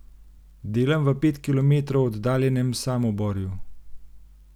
Delam v pet kilometrov oddaljenem Samoborju.